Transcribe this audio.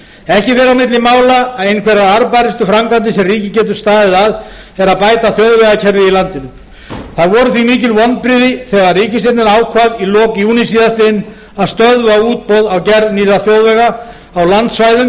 ekki fer á milli mála að einhverjar arðbærustu framkvæmdir sem ríkið getur staðið að er að bæta þjóðvegakerfið í landinu það voru því mikil vonbrigði þegar ríkisstjórnin ákvað í lok júní síðastliðinn að stöðva útboð á gerð nýrra þjóðvega á landsvæðum